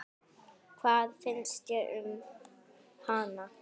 Hvað finnst þér um hana?